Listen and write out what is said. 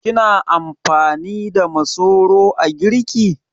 Kina amfani da masoro a girki?